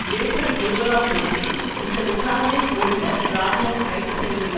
April இருபதாம் தேதி இந்த விசாரணை குழுவினர் இராணுவம் கைது செய்துள்ள